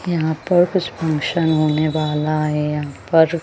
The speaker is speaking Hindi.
यहां पर कुछ फंक्शन होने वाला है यहां पर--